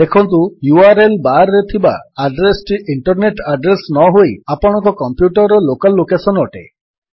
ଦେଖନ୍ତୁ URL bar ରେ ଥିବା ଆଡ୍ରେସ୍ ଟି ଇଣ୍ଟରନେଟ୍ ଆଡ୍ରେସ୍ ନହୋଇ ଆପଣଙ୍କ କମ୍ପ୍ୟୁଟରର ଲୋକାଲ୍ ଲୋକେଶନ୍ ଅଟେ